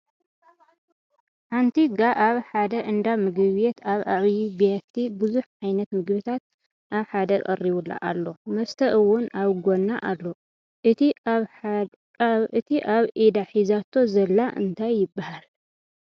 ሓንቲ ጋ ኣብ ሓደ እንዳ ምግቤት ኣብ ዓብይ ቢያቲ ብዙሕ ዓይት ምግቢታት ኣብ ሓደ ቀሪቡላ ኣሎ ። መስተ እውን ኣብ ጎና ኣሎ። እቲ ኣብ ኢዳሒዛቶ ዘላ እንታይ ይበሃል ?